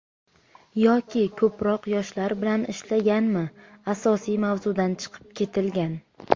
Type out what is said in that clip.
Yoki ko‘proq yoshlar bilan ishlashganmi, asosiy mavzudan chiqib ketilgan.